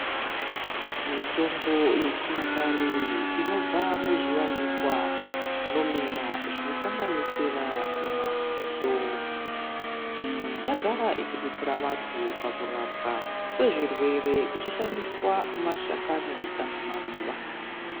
Mitombo yechinyakare inobva muzviwanikwa zvinomera zvinosanganisira mapundo, miti. Yagara ichidetsera vantu pakurapwa kwezvirwere kuchishandiswa mashakani kana maruva.